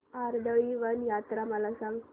कर्दळीवन यात्रा मला सांग